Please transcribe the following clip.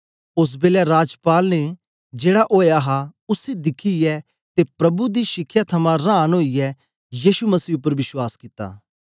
ओस बेलै राजपाल ने जेड़ा ओया हा उसी दिखियै ते प्रभु दी शिखया थमां रांन ओईयै यीशु मसीह उपर विश्वास कित्ता